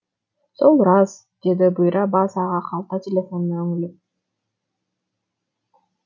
сол рас деді бұйра бас аға қалта телефонына үңіліп